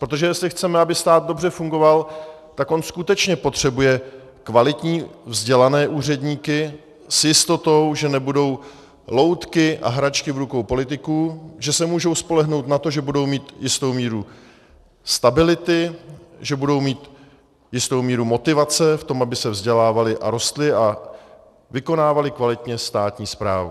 Protože jestli chceme, aby stát dobře fungoval, tak on skutečně potřebuje kvalitní vzdělané úředníky s jistotou, že nebudou loutky a hračky v rukou politiků, že se můžou spolehnout na to, že budou mít jistou míru stability, že budou mít jistou míru motivace k tomu, aby se vzdělávali a rostli a vykonávali kvalitně státní správu.